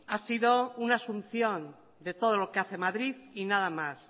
ha sido una asunción de todo lo que hace madrid y nada más